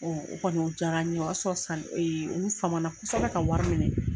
o kɔni o jaara n ye o y'a sɔrɔ sanni u fama kosɔbɛ ka wari minɛ.